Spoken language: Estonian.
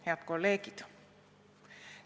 Head kolleegid!